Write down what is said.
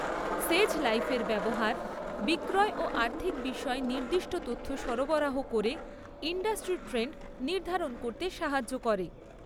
‘সেজ Live’ এর ব্যবহার বিক্রয় ও আর্থিক বিষয়ে নির্দিষ্ট তথ্য সরবরাহ করে ইন্ডাস্ট্রি ট্রেন্ড নির্ধারণ করতে সাহায্য করে।